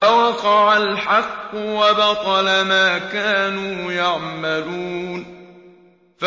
فَوَقَعَ الْحَقُّ وَبَطَلَ مَا كَانُوا يَعْمَلُونَ